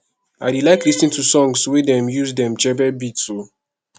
i dey like lis ten to song wey dem use djembe beats o